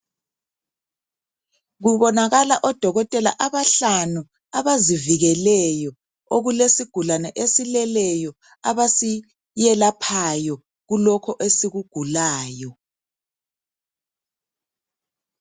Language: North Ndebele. Kubonakala odokotela abahlanu abazivikeleyo okulesigulane esileleyo abasiyelaphayo kulokho esikugulayo.